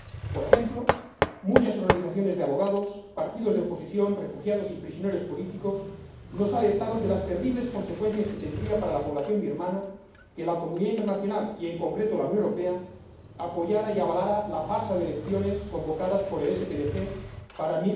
Por ejemplo, muchas organizaciones de abogados, partidos de oposición, refugiados y prisioneros políticos nos alertaron de las terribles consecuencias que tendría para la población birmana que la comunidad internacional y, en concreto, la Unión Europea, apoyaran y avalaran la farsa de elecciones convocadas por el SPDC para